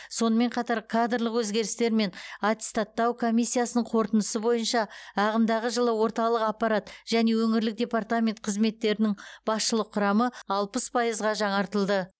сонымен қатар кадрлық өзгерістер мен аттестаттау комиссиясының қорытындысы бойынша ағымдағы жылы орталық аппарат және өңірлік департамент қызметтерінің басшылық құрамы алпыс пайызға жаңартылды